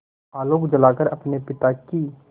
आलोक जलाकर अपने पिता की